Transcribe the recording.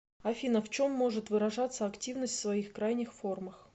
афина в чем может выражаться активность в своих крайних формах